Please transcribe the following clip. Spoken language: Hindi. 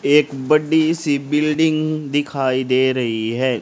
एक बड़ी सी बिल्डिंग दिखाई दे रही है।